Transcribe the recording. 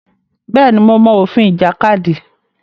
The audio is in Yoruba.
Bẹ́ẹ̀ ni, mo mọ òfin ìjàkadì.